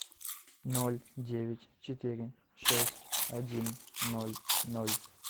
ноль девять четыре шесть один ноль ноль